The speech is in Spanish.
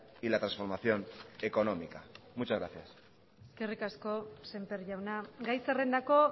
y la transformación económica muchas gracias eskerrik asko semper jauna gai zerrendako